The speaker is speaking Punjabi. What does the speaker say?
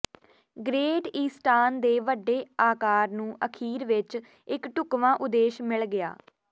ਗ੍ਰੇਟ ਈਸਟਾਨ ਦੇ ਵੱਡੇ ਆਕਾਰ ਨੂੰ ਅਖੀਰ ਵਿੱਚ ਇੱਕ ਢੁਕਵਾਂ ਉਦੇਸ਼ ਮਿਲ ਗਿਆ